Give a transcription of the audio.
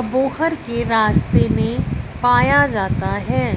अबोहर के रास्ते में पाया जाता है।